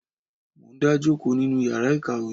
Mo n dá jòkó nínú yàrá ìkàwé.